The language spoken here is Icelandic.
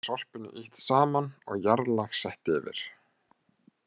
Þar er sorpinu ýtt saman og jarðlag sett yfir.